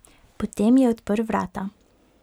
Potem je odprl vrata.